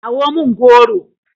kawo min goro!